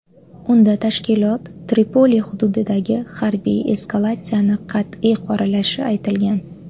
Unda tashkilot Tripoli hududidagi harbiy eskalatsiyani qat’iy qoralashi aytilgan.